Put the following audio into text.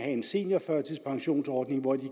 en seniorførtidspensionsordning hvor de